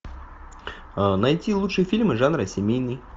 найти лучшие фильмы жанра семейный